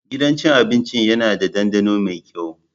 Gidan cin abinci yana da ɗandano mai kyau.